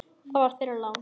Það var þeirra lán.